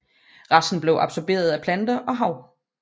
Resten bliver absorberet af planter og hav